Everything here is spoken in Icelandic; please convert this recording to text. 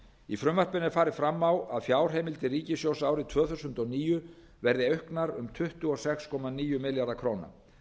í frumvarpinu er farið fram á að fjárheimildir ríkissjóðs árið tvö þúsund og níu verði auknar um tuttugu og sex komma níu milljarða króna